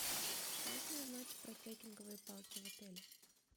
можно узнать про трекинговые палки в отеле